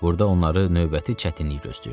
Burda onları növbəti çətinlik gözləyirdi.